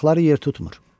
ayaqları yer tutmur.